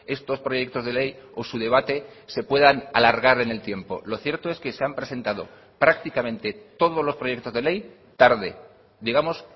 estos proyectos de ley o su debate se puedan alargar en el tiempo lo cierto es que se han presentado prácticamente todos los proyectos de ley tarde digamos